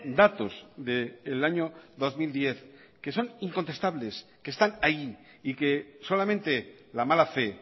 datos del año dos mil diez que son incontestables que están ahí y que solamente la mala fe